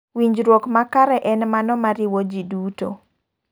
Winjruok makare en mano ma riwo ji duto.